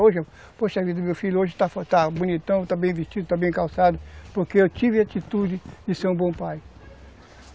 poxa a vida, o meu filho hoje está está bonitão, está bem vestido, está bem calçado, porque eu tive a atitude de ser um bom pai.